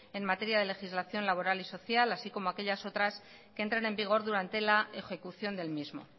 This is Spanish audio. en materia de legislación laboral y social así como aquellas otras que entran en vigor durante la ejecución del mismo